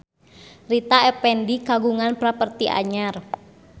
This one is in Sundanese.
Rita Effendy kagungan properti anyar